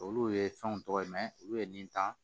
Olu ye fɛnw tɔgɔ ye olu ye nin ta